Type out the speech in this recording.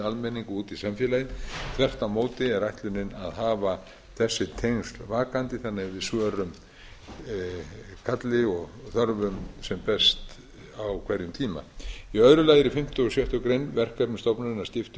almenning út í samfélagið þvert á móti er ætlunin að hafa þessi tengsl vakandi þannig að við svörum kalli og þörfum sem best á hverjum tíma í öðru lagi eru í fimmta og sjöttu grein verkefnum stofnunarinnar skipt upp í